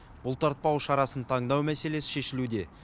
бұлтартпау шарасын таңдау мәселесі шешілуде